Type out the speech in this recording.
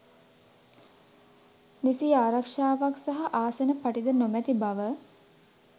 නිසි ආරක්ෂාවක් සහ ආසන පටි ද නොමැති බව